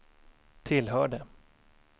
tillhörde